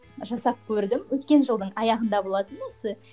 жасап көрдім өткен жылдың аяғында болатын осы